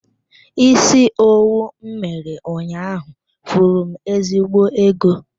Isi owu m mere ụnyaahụ furu m ezigbo ego.